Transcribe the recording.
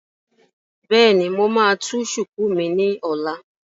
Bẹ́ẹ̀ni, mo máa tú shùkú mi ní ọ̀la